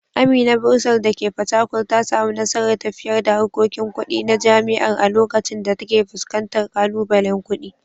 Amina Bursar dake Fatakwal ta samu nasarar tafiyar da harkokin kudi na jami’ar a lokacin da take fuskantar kalubalen kudi.